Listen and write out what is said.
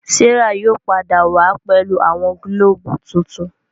Serah yóò pàdà wá pẹlu awọn gilobu tintun.